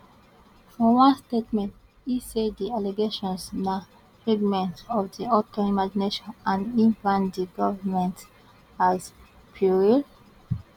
for one statement e say di allegations na figment of di author imagination and e brand di government as puerile